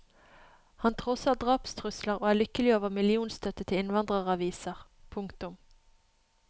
Han trosser drapstrusler og er lykkelig over millionstøtte til innvandreraviser. punktum